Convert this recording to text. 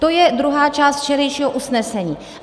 To je druhá část včerejšího usnesení.